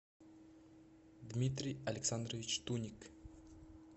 дмитрий александрович туник